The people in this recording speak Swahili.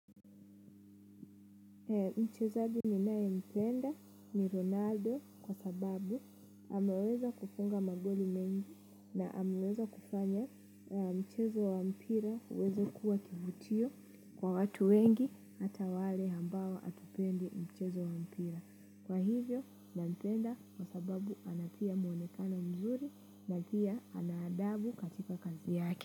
Mchezaji ninayempenda ni Ronaldo kwa sababu ameweza kufunga magoli mengi na amameweza kufanya mchezo wa mpira uweza kuwa kivutio kwa watu wengi hata wale ambao hatupendi mchezo wa mpira. Kwa hivyo nampenda kwa sababu anatia muonekano mzuri na pia ana adabu katika kazi yake.